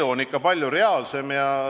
Elu on ikka palju reaalsem.